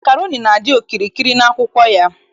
Makroni na-adị okirikiri n'akwụkwọ ya.